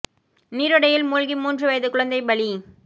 நீரோடையில் மூழ்கி மூன்று வயது குழந்தை பலி